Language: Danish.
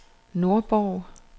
Nordborg